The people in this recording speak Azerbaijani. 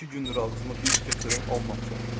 İki gündür ağzıma bir tikə çörək almamışam.